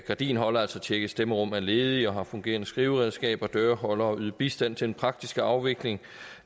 gardiner altså tjekke at stemmerum er ledige og har fungerende skriveredskaber holde døre yde bistand til den praktiske afvikling